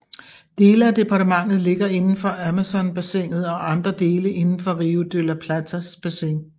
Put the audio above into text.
Dele af departementet ligger indenfor Amazonbassinet og andre dele indenfor Río de la Platas bassin